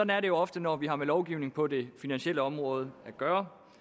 er det jo ofte når vi har med lovgivning på det finansielle område at gøre